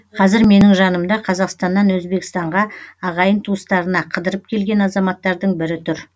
қазір менің жанымда қазақстаннан өзбекстанға ағайын туыстарына қыдырып келген азаматтардың бірі тұр